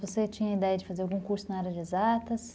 Você tinha ideia de fazer algum curso na área de exatas?